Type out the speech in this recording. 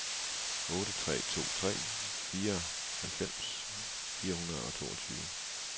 otte tre to tre fireoghalvfems fire hundrede og toogtyve